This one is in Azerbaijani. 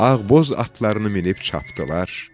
Ağboz atlarını minib çapdılar.